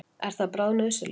Er það bráðnauðsynlegt?